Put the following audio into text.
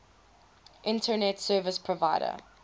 internet service provider